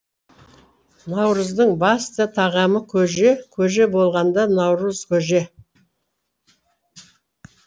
наурыздың басты тағамы көже көже болғанда наурызкөже